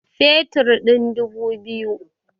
Fetur ɗin dubu biyu